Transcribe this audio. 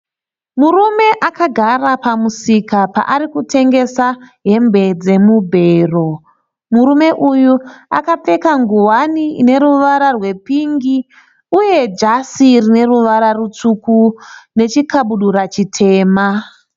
Murume akagara pamusika paarikutengesa hembe dzemubhero. Murume uyu akapfeka nguvani ine ruvara rwepingi uye jasi rine ruvara rutsvuku nechikabudura chitema